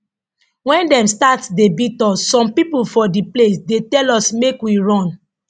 wen dem start dey beat us some pipo for di place dey tell us make we run